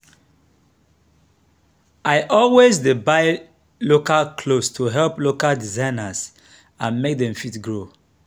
i always dey buy local clothes to help local designers and make them fit grow.